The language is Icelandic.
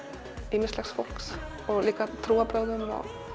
ýmislegs fólks og líka trúarbrögðum